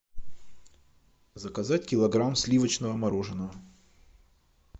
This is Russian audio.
заказать килограмм сливочного мороженого